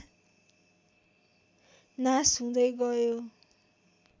नास हुँदै गयो